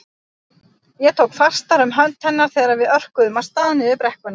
Ég tók fastar um hönd hennar þegar við örkuðum af stað niður brekkuna.